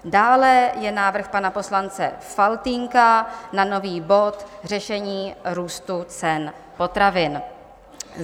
Dále je návrh pana poslance Faltýnka na nový bod Řešení růstu ceny potravin.